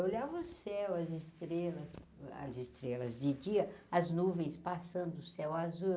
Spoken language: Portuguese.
olhava o céu, as estrelas, as estrelas de dia, as nuvens passando o céu azul.